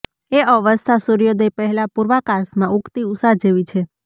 એ અવસ્થા સૂર્યોદય પહેલાં પૂર્વાકાશમાં ઊગતી ઉષા જેવી છે